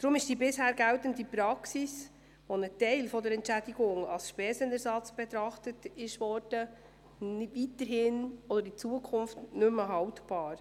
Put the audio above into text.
Deshalb ist die bisher geltende Praxis, einen Teil der Entschädigung als Spesenersatz zu betrachten, in Zukunft nicht mehr haltbar.